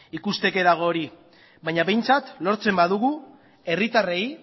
ikusteke dago hori baina behintzat lortzen badugu herritarrei